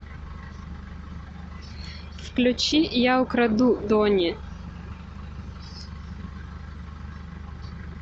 включи я украду дони